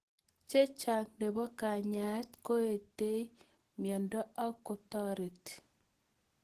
Chechang' nepo kanyaet koetei miondo ak kotareti